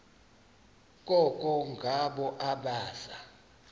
koko ngabo abaza